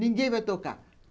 Ninguém vai tocar.